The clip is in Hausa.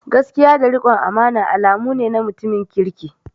Gaskiya da rikon amana alamu ne na mutumin kirki.